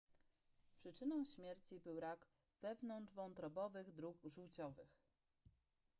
przyczyną śmierci był rak wewnątrzwątrobowych dróg żółciowych